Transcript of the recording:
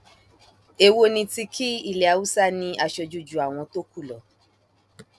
èwo ni ti kí ilé haúsá ní aṣojú ju àwọn tó kù lọ